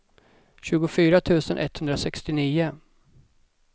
tjugofyra tusen etthundrasextionio